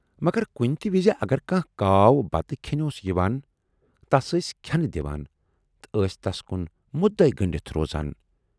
مگر کُنہِ تہِ وِزِ اگر کانہہ کاو بَتہٕ کھٮ۪نہِ اوس یِوان، تَس ٲسۍ کھٮ۪نہٕ دِوان تہٕ ٲسۍ تَس کُن مُدے گٔنڈِتھ روزان۔